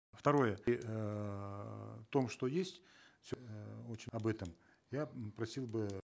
второе в том что есть об этом я просил бы